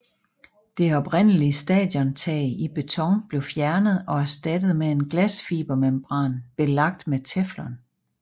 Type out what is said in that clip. Det oprindelige stadiontag i beton blev fjernet og erstattet med en glasfibermembran belagt med teflon